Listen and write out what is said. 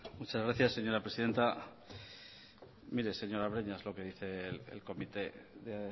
muchas gracias señora presidenta mire señora breñas lo que dice el comité de